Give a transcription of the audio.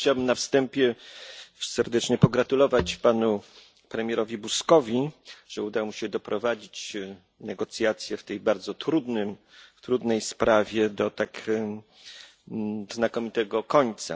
Ja też chciałem na wstępie serdecznie pogratulować panu premierowi Buzkowi, że udało mu się doprowadzić negocjacje w tej bardzo trudnej sprawie do tak znakomitego końca.